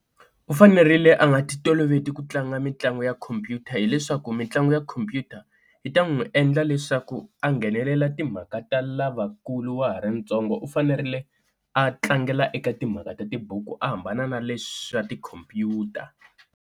U fanerile a nga ti toloveti ku tlanga mitlangu ya khompyuta, hileswaku mitlangu ya computer yi ta n'wi endla leswaku a nghenelela timhaka ta lavakulu wa ha ri ntsongo u fanerile a tlangela eka timhaka ta tibuku a hambana na leswa tikhompyuta.